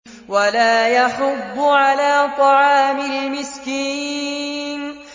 وَلَا يَحُضُّ عَلَىٰ طَعَامِ الْمِسْكِينِ